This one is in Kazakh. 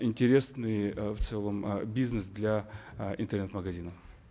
интересный э в целом э бизнес для э интернет магазинов